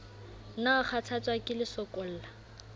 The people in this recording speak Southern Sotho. na o kgathatswa ke lesokolla